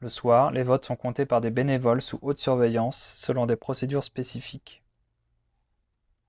le soir les votes sont comptés par des bénévoles sous haute surveillance selon des procédures spécifiques